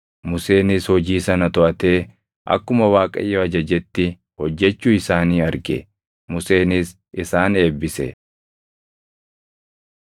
Museenis hojii sana toʼatee akkuma Waaqayyo ajajetti hojjechuu isaanii arge. Museenis isaan eebbise.